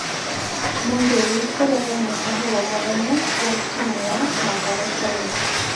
Muiruri kũrega mũkahũro mũnene wa timu ya Mathare Caina.